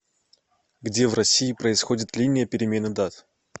где в россии происходит линия перемены дат